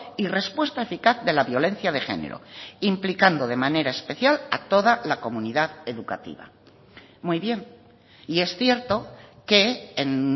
y respuesta eficaz de la violencia de género implicando de manera especial a toda la comunidad educativa muy bien y es cierto que en